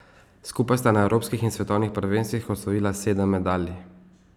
Skupaj sta na evropskih in svetovnih prvenstvih osvojila sedem medalj.